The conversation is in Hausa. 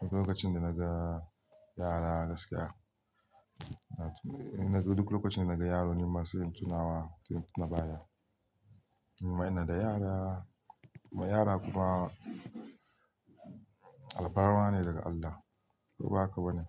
duk lokacin da naga yara gaskiya, duk lokacin da naga yaro nima sai in tunawa, tunabaya. Ni ma ina da yara, kuma yara kuma alfarma ne daga Allah ko ba haka ba ne?